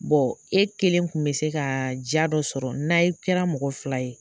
e kelen kun bɛ se ka jaa dɔ sɔrɔ n'aye kɛra mɔgɔ fila ye